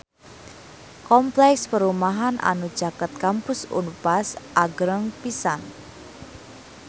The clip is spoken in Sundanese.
Kompleks perumahan anu caket Kampus Unpar agreng pisan